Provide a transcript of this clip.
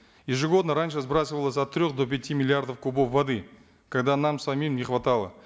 ежегодно раньше сбрасывалось от трех до пяти миллиардов кубов воды когда нам самим не хватало